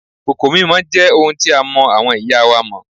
Kòkò mímọ jẹ́ ohun tí a mọ àwọn ìyá wa mọ́